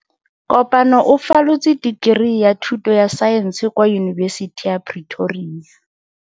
Kopano o falotse dikeri ya thuto ya Saense kwa Yunibesiti ya Pretoria.